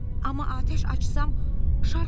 Amma atəş açsam şar xarab olar axı.